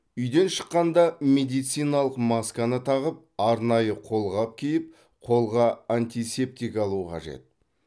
үйден шыққанда медициналық масканы тағып арнайы қолғап киіп қолға антисептик алу қажет